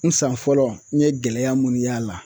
N san fɔlɔ n ye gɛlɛya munni y'a la